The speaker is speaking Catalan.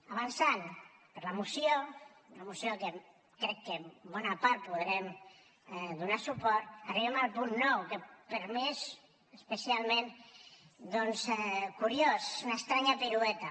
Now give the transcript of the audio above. avançant per la moció una moció que crec que en bona part hi podrem donar suport arribem al punt nou que per mi és especialment curiós una estranya pirueta